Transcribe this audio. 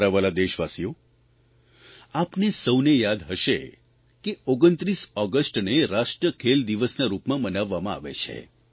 મારા વ્હાલા દેશવાસીઓ આપને સૌને યાદ હશે કે 29 ઓગષ્ટને રાષ્ટ્ર ખેલ દિવસના રૂપમાં મનાવવામાં આવે છે